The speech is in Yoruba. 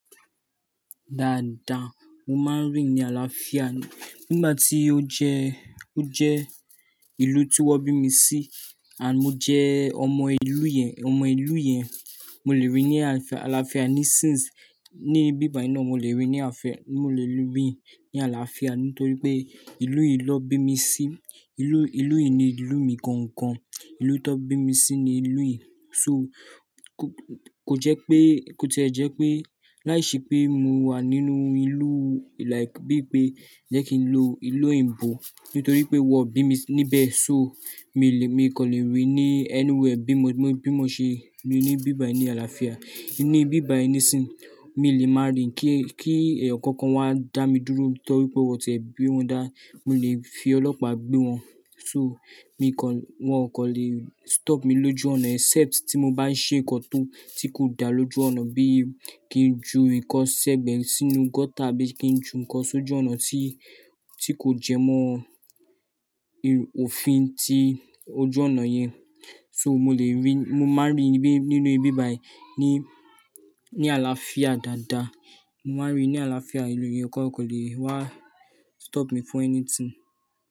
Dáadáa, mo máa ń rí i ní àlàáfíà. Nígbà tí ó jẹ, ó jẹ ìlú tí wọ́n bí mi sí, and mo jẹ́ ọmọ ìlú yẹn, ọmọ ìlú yẹn. Mo lè rí i ní àlàáfíà ní since, ní ibi bayináà mo lè rí i ní ààf- mo lè rí i ní àlàáfíà nítorí pé ìlú yìí ló bí mi sí. Ìlú, ìlú yìí ni ìlú mi gangan. Ìlú tó bí mi sí ni ìlú yìí. So kò, kò jẹ́ pé, kò tipé láìṣe pé mo wà nínú ìlú like bí i pé jẹ́ kí n lo ìlú òyìnbó nítorí pé wọ́n bí mi níbẹ̀. So mi lè, mi kò lè rí i ní anywhere bí mo, bí mo ṣe rí i ní ibíbàì ní àlàáfíà. Ní bíbàì ni sin, mi ò lè máa rín kí, kí ẹ̀ẹ̀yan kan kan wá dá mi dúró nítorí pé wọ́n tẹ̀ bí wọn dá. Mo lè fi ọlọ́pàá gbé wọn. So mi kò, wọn kò lè stop mi lójú ọ̀nà except tí mo bá ń ṣe ǹkan tó, tí kò dá lójú ọ̀nà bí í kí n ju ǹkan sẹ́gbe sínú gutter bí i kí n ju ǹkan sójú ọ̀nà tí, tí kò jẹ mọ́ òfin tí ojú ọ̀nà yẹn. So mo lè rí i, mo máa ń rí i bí, nínú ibi bíbàì ní, ní àlàáfíà dáadáa. Mo máa ń rí i ní àlàáfíà, ìlú yẹn kọ̀ọ̀kan lè wá stop me for anything.